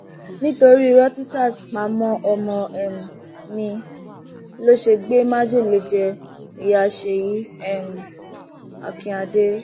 nítorí irọ tí sars pa mọ ọmọ um mi ló ṣe gbé májèlé jẹ ìyá ṣèyí um akínádé